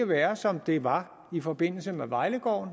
være som det var i forbindelse med vejlegården